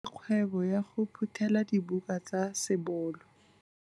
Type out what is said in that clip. O dirile kgwebô ya go phuthêla dibuka tsa sebolo.